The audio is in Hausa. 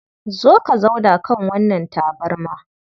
Zo ka zauna kan wannan tabarma.